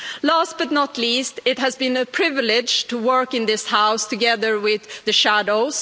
Last but not least, it has been a privilege to work in this House together with the shadows.